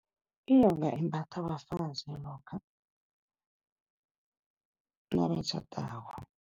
Inyoka imbathwa bafazi lokha, nabatjhadako.